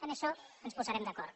en això ens posarem d’acord